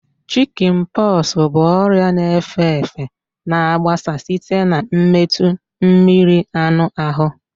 Shikin poxu bụ ọrịa na efe efe na agbasa site na metụ mmiri anụ ahụ